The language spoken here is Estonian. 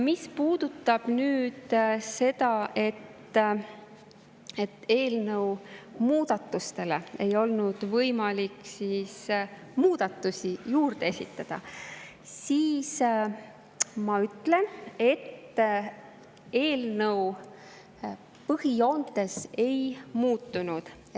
Mis puudutab seda, et eelnõule ei olnud võimalik muudatusi juurde esitada, siis ma ütlen, et eelnõu põhijoontes ei muutunud.